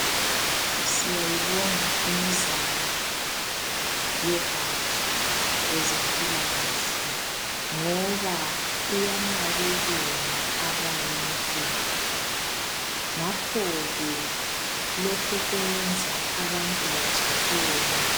Siyayibonga imizamo yozogatsha lwezeMpilakahle ngoba iyanakekela abantu ngakho ke lokhu kwenza abantu bajabule.